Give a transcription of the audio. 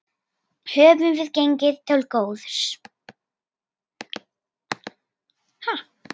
Höfum við gengið til góðs?